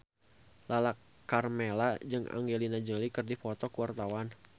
Lala Karmela jeung Angelina Jolie keur dipoto ku wartawan